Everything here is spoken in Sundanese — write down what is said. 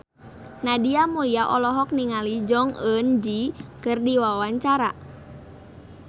Nadia Mulya olohok ningali Jong Eun Ji keur diwawancara